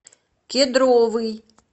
кедровый